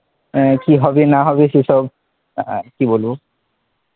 আহ কি হবে না হবে সেই সব, আহ কি বলব